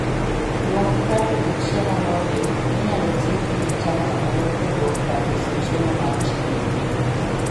Luong kado gi chiemo moriw minyalo ting kidhicham kamoro kowuok kar uso chiemo mar chicken grill